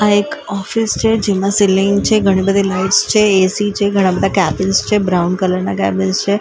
આ એક ઓફિસ છે જેમાં સીલિંગ છે ઘણી બધી લાઇટ્સ છે એસી છે ઘણા બધા કેબિન્સ છે બ્રાઉન કલર ના કેબિન્સ છે રેડ --